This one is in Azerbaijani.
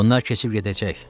Bunlar keçib gedəcək.